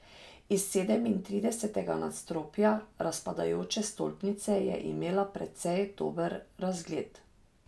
Iz sedemintridesetega nadstropja razpadajoče stolpnice je imela precej dober razgled.